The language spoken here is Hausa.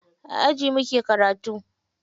A aji muke karatu.